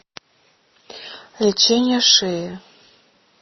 лечение шеи